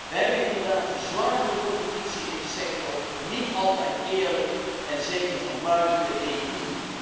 We hebben inderdaad zware concurrentie in de sector, niet altijd eerlijk en zeker van buiten de EU.